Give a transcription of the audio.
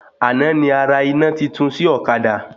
Àná ni arà iná titun sí ọ̀kadà